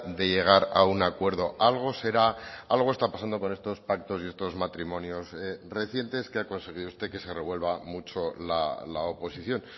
de llegar a un acuerdo algo será algo está pasando con estos pactos y estos matrimonios recientes que ha conseguido usted que se revuelva mucho la oposición